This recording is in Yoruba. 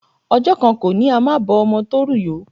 Ọjọ́ kan kọ́ ni a máa bọ́ ọmọ tó rù yó.